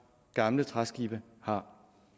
gamle træskibe har